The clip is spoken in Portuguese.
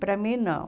Para mim, não.